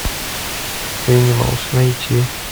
энималс найти